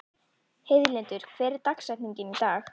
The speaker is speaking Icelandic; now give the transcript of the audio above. Heiðlindur, hver er dagsetningin í dag?